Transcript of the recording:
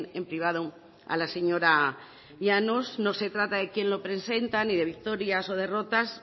en privado a la señora llanos no se trata de quién lo presenta ni de victorias o derrotas